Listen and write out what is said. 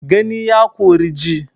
Gani ya kori ji